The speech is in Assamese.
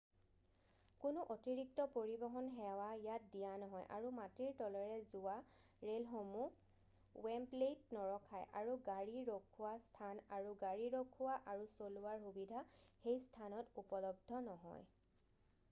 কোনো অতিৰিক্ত পৰিবহন সেৱা ইয়াত দিয়া নহয় আৰু মাটিৰ তলেৰে যোৱা ৰেলসমূহ ৱেম্বলেইত নৰখায় আৰু গাড়ী ৰখোৱা স্থান আৰু গাড়ী ৰখোৱা আৰু চলোৱাৰ সুবিধা সেই স্থানত উপলব্ধ নহয়